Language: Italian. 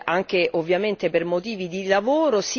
anche ovviamente per motivi di lavoro.